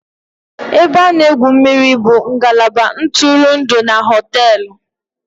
Ebe a na-egwu mmiri bụ ngalaba ntụrụndụ na hóteélụ̀